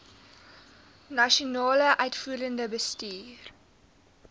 nasionale uitvoerende bestuur